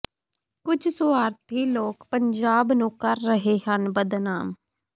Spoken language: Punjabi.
ਕੁਝ ਸੁਆਰਥੀ ਲੋਕ ਪੰਜਾਬ ਨੂੰ ਕਰ ਰਹੇ ਹਨ ਬਦਨਾਮ